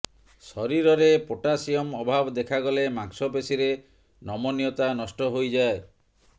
ଶରୀରରେ ପୋଟାସିୟମ୍ ଅଭାବ ଦେଖାଗଲେ ମାଂସପେଶୀରେ ନମନୀୟତା ନଷ୍ଟ ହୋଇଯାଏ